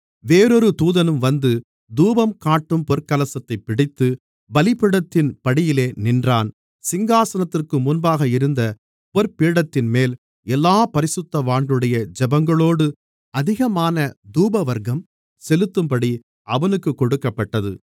வேறொரு தூதனும் வந்து தூபங்காட்டும் பொற்கலசத்தைப் பிடித்துப் பலிபீடத்தின் படியிலே நின்றான் சிங்காசனத்திற்கு முன்பாக இருந்த பொற்பீடத்தின்மேல் எல்லாப் பரிசுத்தவான்களுடைய ஜெபங்களோடு அதிகமான தூபவர்க்கம் செலுத்தும்படி அவனுக்குக் கொடுக்கப்பட்டது